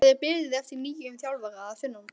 Það er beðið eftir nýjum þjálfara að sunnan.